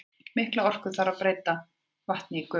Mikla orku þarf til að breyta vatni í gufu.